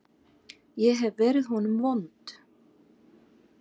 Ég hef verið honum vond.